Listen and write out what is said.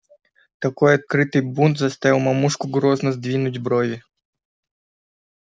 такой открытый бунт заставил мамушку грозно сдвинуть брови